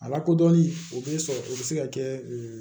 A lakodɔnni o bɛ sɔrɔ o bɛ se ka kɛ